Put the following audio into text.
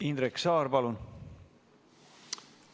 Indrek Saar, palun!